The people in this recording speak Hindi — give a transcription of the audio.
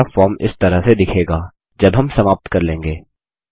और हमारा फॉर्म इस तरह से दिखेगा जब हम समाप्त कर लेंगे